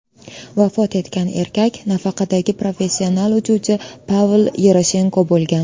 Vafot etgan erkak nafaqadagi professional uchuvchi Pavel Yeroshenko bo‘lgan.